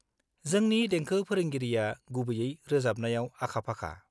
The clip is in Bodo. जोंनि देंखो फोरोंगिरिआ गुबैयै रोजाबनायाव आखा-फाखा।